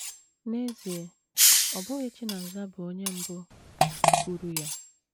N’ezie, ọ bụghị Chinaza bụ onye mbụ kwuru ya.